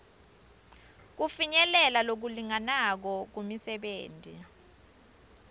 kufinyelela lokulinganako kumisebenti